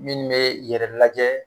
Minnu bɛ yɛrɛ lajɛ